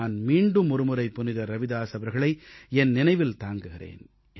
நான் மீண்டும் ஒருமுறை புனிதர் ரவிதாஸ் அவர்களை என் நினைவில் தாங்குகிறேன்